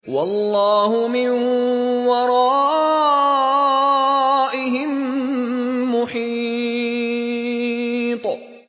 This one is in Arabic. وَاللَّهُ مِن وَرَائِهِم مُّحِيطٌ